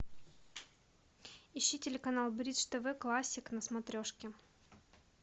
ищи телеканал бридж тв классик на смотрешке